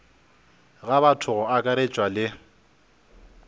ga batho go akaretšwa le